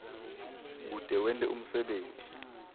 kute wente umsebenti